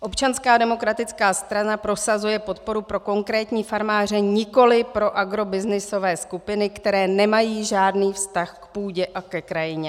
Občanská demokratická strana prosazuje podporu pro konkrétní farmáře, nikoliv pro agrobyznysové skupiny, které nemají žádný vztah k půdě a ke krajině.